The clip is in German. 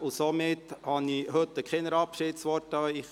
Deshalb richte ich heute keine Abschiedsworte an Sie.